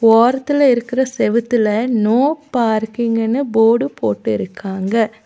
ஓரத்துல இருக்குற செவுத்துல நோ பார்க்கிங்குனு போடு போட்டு இருக்காங்க.